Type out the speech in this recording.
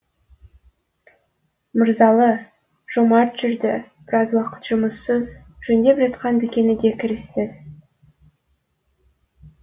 мырзалы жомарт жүрді біраз уақыт жұмыссыз жөндеп жатқан дүкені де кіріссіз